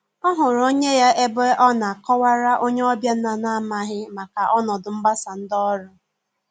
Ọ hụrụ onye ya ebe ọ na akọ wara onye ọbịa na n'amaghi maka ọnọdụ mgbasa ndị ọrụ.